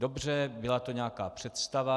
Dobře, byla to nějaká představa.